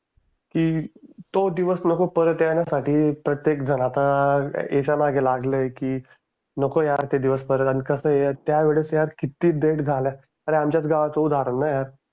तो दिवस नको परत येण्यासाठी प्रत्येकजण आता याच्यामागे लागलंय की नको यार ते दिवस परत आणि कसं आहे त्यावेळेस यार कित्येक डेथ झाल्या अरे आमच्याच गावाचं उदाहरण आहे.